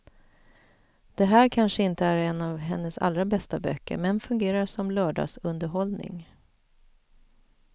Det här kanske inte är en av hennes allra bästa böcker men fungerar som lördagsunderhållning.